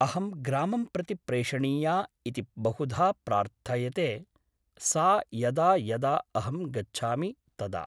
अहं ग्रामं प्रति प्रेषणीया इति बहुधा प्रार्थयते सा यदा यदा अहं गच्छामि तदा ।